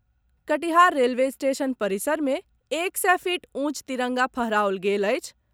Katihar railway station परिसर मे एक सय फीट ऊंच तिरंगा फहराओल गेल अछि।